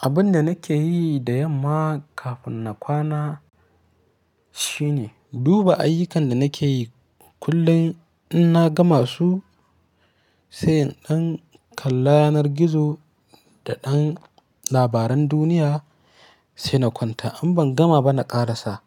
Abun da nake yi da yamma kafin na kwana shine duba ayyukan da nake yi kullum in na gama su, sai in kalla yanar gizo da ɗan labaran duniya sai na kwanta. In ban gama ba na ƙarasa.